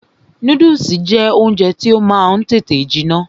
Núdùsì jẹ́ oúnjẹ tí ó máa ń tètè jiná